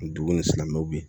dugu ni silamɛw ye